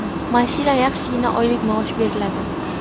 Mashina, yaxshigina oylik maosh beriladi.